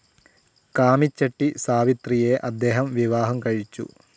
കാമിചെട്ടി സാവിത്രിയെ അദ്ദേഹം വിവാഹം കഴിച്ചു.